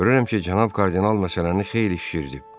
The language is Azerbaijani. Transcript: Görürəm ki, cənab kardinal məsələni xeyli şişirdib.